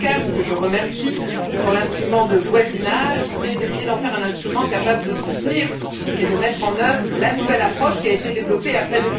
Kukan, que je remercie, sur l'instrument de voisinage, c'est essayer d'en faire un instrument propre à soutenir et à mettre en œuvre la nouvelle approche qui a été développée après